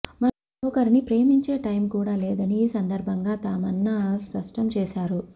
మరొకరిని ప్రేమించే టైమ్ కూడా లేదని ఈ సందర్భంగా తమన్నా స్పష్టం చేశారు